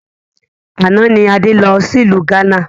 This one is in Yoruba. Àná ni Adé lọ sí ìlú gánà